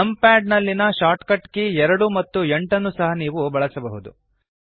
numpad ನಲ್ಲಿಯ shortcut key 2 ಮತ್ತು 8 ಸಹ ನೀವು ಬಳಸಬಹುದು